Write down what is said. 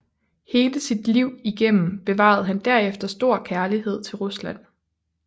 Hele sit liv igennem bevarede han derefter stor kærlighed til Rusland